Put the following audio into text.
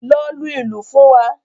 Lọ lu ìlù fún wa.